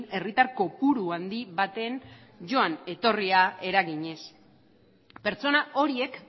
herritar kopuru handi baten joan etorria eraginez pertsona horiek